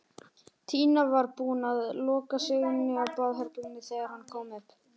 Tinna var búin að loka sig inni á baðherberginu þegar hann kom upp.